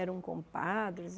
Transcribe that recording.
Eram compadres.